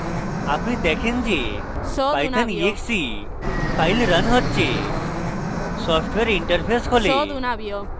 আপনি দেখেন যে python exe file রান হচ্ছে সফ্টওয়্যার interface খোলে